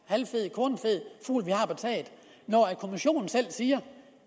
halvfed kornfed fugl og når kommissionen selv siger